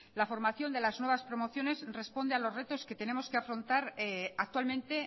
la formación de las nuevas promociones responde a los retos que tenemos que afrontar actualmente